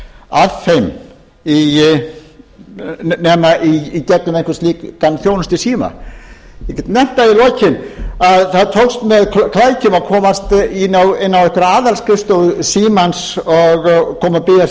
að þeim nema í gegnum einhvern slíkan þjónustusíma ég get nefnt það í lokin að það tókst með klækjum að komast inn á aðalskrifstofu símans og koma þar